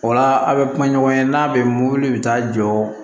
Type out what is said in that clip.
O la a' bɛ kuma ɲɔgɔn ye n'a bɛ mobili bɛ taa jɔ